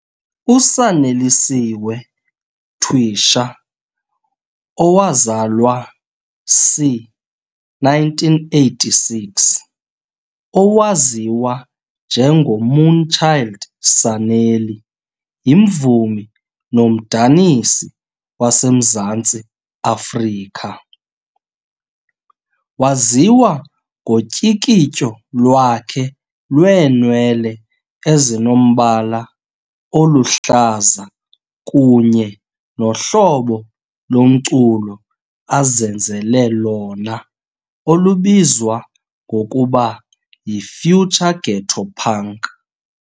USaneliswe Twisha, owazalwa c.1986, owaziwa njengoMoonchild Sanelly yimvumi nomdanisi waseMzantsi Afrika. Waziwa ngotyikityo lwakhe lweenwele ezinombala oluhlaza kunye nohlobo lomculo azenzele lona olubizwa ngokuba yi "Future ghetto punk" .